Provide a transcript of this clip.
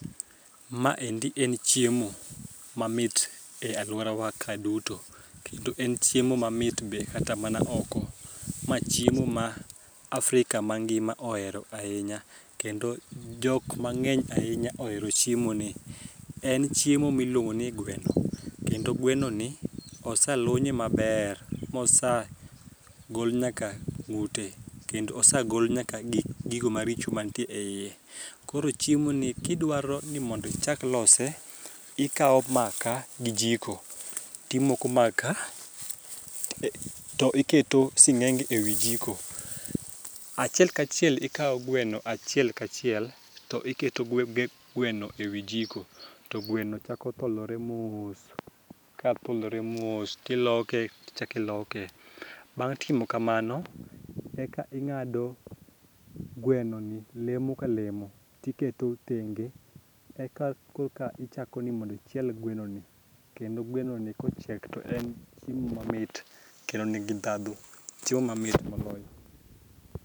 Ma endi en chiemo mamit ahinya e aluora wa ka duto kendo en chiemo mamit be kata mana oko ma chiemo ma africa mangima ohero ahinya kendo jok mang'eny ahinya ohero chiemo ni ,en chiemo miluongo ni gweno kendo gweno ni oseluonye maber mosa gol nyaka ng'ute kendo osagol giko maricho mantie e iye ,koro chiemo ni kidwaro mondo ichak lose ,ikawo maka gi jiko timoko maka tiketo singenge ewi jiko, achiel ka chiel ikwao gweno achiel kachiel tiketo gweno ewi jiko to gweno chako tholore mos ka tholore mos to iloke tichaki loke ti chaki lose bang' timo kamo eka ing'ado gweno ni lemo ka lemo tiketo thenge eka koka ichako ni mondo ichiel gweno ni ,kendo gweno ni kochiek to en chiemo mamit kendo ni gi dhadhu, chiemo mamit moloyo